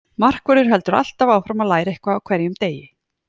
Markvörður heldur alltaf áfram að læra eitthvað á hverjum degi.